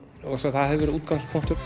það hefur verið útgangspunktur